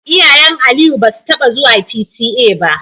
Iyayen Aliyu basu taba zuwa P.T.A ba.